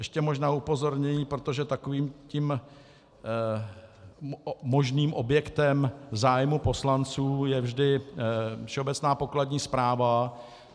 Ještě možná upozornění, protože takovým tím možným objektem zájmu poslanců je vždy Všeobecná pokladní správa.